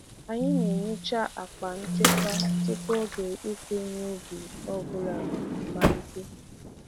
Anyị na-ehicha akpa nchekwa tupu oge ịkụ ihe ubi ọ bụla amalite.